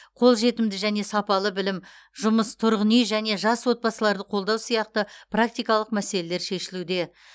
қолжетімді және сапалы білім жұмыс тұрғын үй және жас отбасыларды қолдау сияқты практикалық мәселелер шешілуде